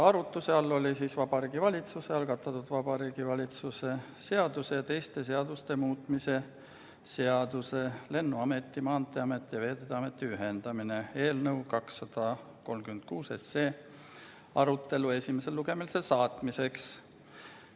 Arutuse all oli Vabariigi Valitsuse algatatud Vabariigi Valitsuse seaduse ja teiste seaduste muutmise seaduse eelnõu 236 arutelu esimesele lugemisele saatmiseks.